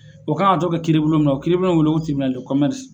O kan ka to kɛ kiiribulon min na kiiribulon bɛ wele ko